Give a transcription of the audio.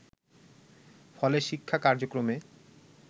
ফলে শিক্ষা কার্যক্রমে